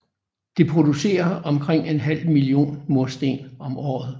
Det producerer omkring en halv million mursten om året